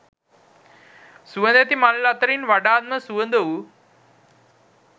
සුවඳැති මල් අතරින් වඩාත්ම සුවඳ වූ